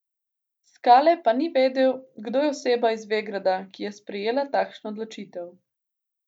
Skale pa ni vedel, kdo je oseba iz Vegrada, ki je sprejela takšno odločitev.